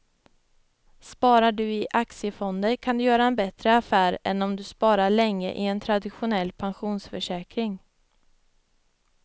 Sparar du i aktiefonder kan du göra en bättre affär än om du sparar länge i en traditionell pensionsförsäkring.